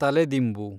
ತಲೆದಿಂಬು